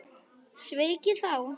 Sveik ég þá?